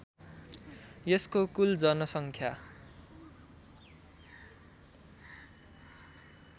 यसको कुल जनसङ्ख्या